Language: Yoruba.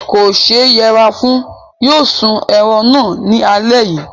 Kò ṣe yẹra fún. Yóò sún ẹran náà ní alẹ́ yìí.